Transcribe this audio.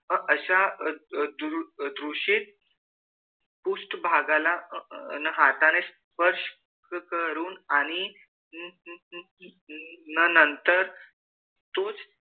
अशा दुरु दूषित पृष्ठ भागाला अह हाताने स्पर्श करून आणि अह नंतर तूच,